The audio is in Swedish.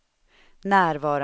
närvarande